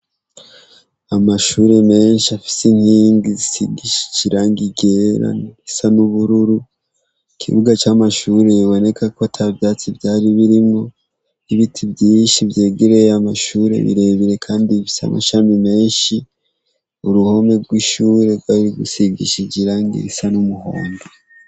Amashure menshi afise intingi zisigishija irange igera risa n'ubururu ikibuga c'amashure yiboneka ko atavyatsi vyari birimo 'ibiti vyiishi vyegereye amashure birebire, kandi ivisa amasami menshi uruhome rw'ishure rwari gusigishijirange isa n' umuhongo.